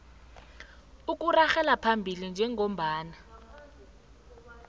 okuragela phambili njengombana